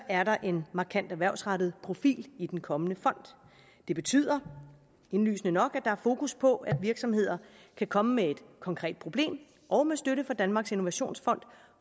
er der en markant erhvervsrettet profil i den kommende fond det betyder indlysende nok at er fokus på at virksomheder kan komme med et konkret problem og med støtte fra danmarks innovationsfond